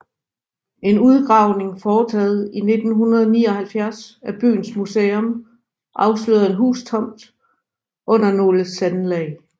En udgravning foretaget i 1979 af byens museum afslørede en hustomt under nogle sandlag